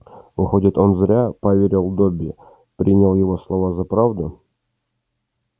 выходит он зря поверил добби принял его слова за правду